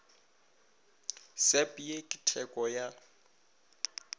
sep ye ke theko ya